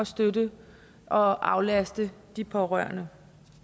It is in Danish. støtte og aflaste de pårørende